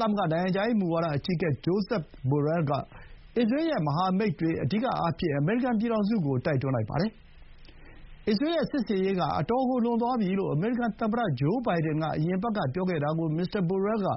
သမဂ္ဂနိုင်ငံခြားရေး မူဝါဒအကြီးအကဲ Josep Borrell က အစ္စရေးရဲ့မဟာမိတ်တွေ အဓိကအားဖြင့် အမေရိကန်ပြည်ထောင်စုကို တိုက်တွန်းလိုက်ပါတယ်။ အစ္စရေးရဲ့စစ်ဆင်ရေးက အတော်ကိုလွန်သွားပြီလို့ အမေရိကန်သမ္မတဂျိုးဘိုင်ဒန်က အရင်အပတ်ကပြောခဲ့တာကို မစ္စတာဘိုရဲလ်က